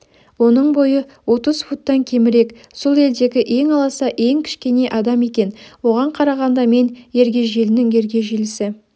оның бойы отыз футтан кемірек сол елдегі ең аласа ең кішкене адам екен оған қарағанда мен ергежейлінің ергежейлісі